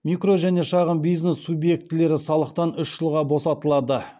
микро және шағын бизнес субъектілері салықтан үш жылға босатылады